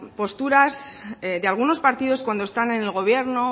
posturas de algunos partidos cuando están en el gobierno